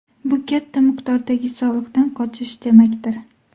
Bu katta miqdordagi soliqdan qochish demakdir.